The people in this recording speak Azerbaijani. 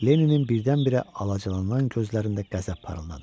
Lenninin birdən-birə alacalanan gözlərində qəzəb parıldadı.